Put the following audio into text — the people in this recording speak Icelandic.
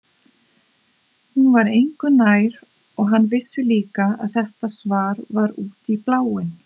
Hún var engu nær og hann vissi líka að þetta svar var út í bláinn.